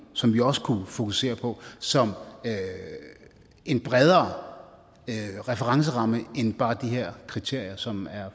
som vi også kunne fokusere på som en bredere referenceramme end bare de her kriterier som er